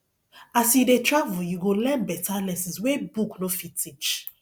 as you dey travel you go learn better lessons wey book no fit teach